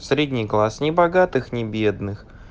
средний класс не богатых не бедных